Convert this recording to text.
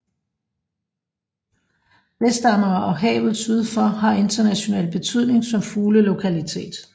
Vestamager og havet syd for har international betydning som fuglelokalitet